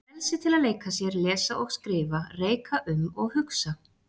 Frelsi til að leika sér, lesa og skrifa, reika um og hugsa.